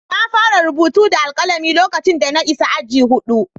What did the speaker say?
Na fara rubutu da alkalami lokacin da na isa aji huɗu.